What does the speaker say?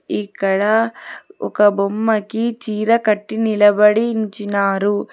ఇక్కడ ఒక బొమ్మకి చీర కట్టి నిలబడించినారు.